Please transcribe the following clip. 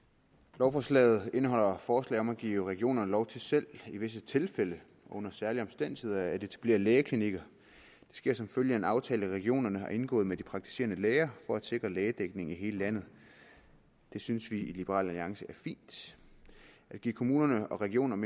lovforslaget indeholder forslag om at give regionerne lov til selv i visse tilfælde under særlige omstændigheder at etablere lægeklinikker det sker som følge af en aftale regionerne har indgået med de praktiserende læger for at sikre lægedækning i hele landet det synes vi i liberal alliance er fint at give kommunerne og regionerne